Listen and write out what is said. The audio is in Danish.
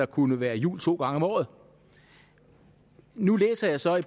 kunne være jul to gange om året nu læser jeg så i